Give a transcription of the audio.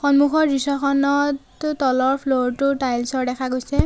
সন্মুখৰ দৃশ্যখনত তলৰ ফ্ল'ৰ টো টাইলছ ৰ দেখা গৈছে।